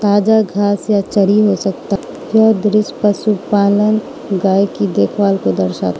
ताजा घास या चरी हो सकता है दृश्य पशुपालन गाय की देखभाल को दर्शाया --